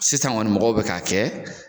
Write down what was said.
Sisan kɔni mɔgɔw bɛ k'a kɛ